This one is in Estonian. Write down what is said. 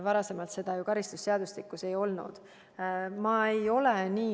Varem seda karistusseadustikus ei olnud.